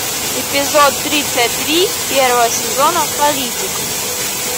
эпизод тридцать три первого сезона политик